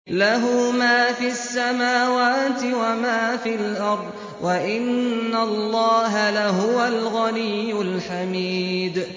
لَّهُ مَا فِي السَّمَاوَاتِ وَمَا فِي الْأَرْضِ ۗ وَإِنَّ اللَّهَ لَهُوَ الْغَنِيُّ الْحَمِيدُ